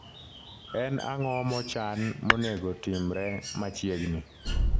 en ango mochan monego timre machiegni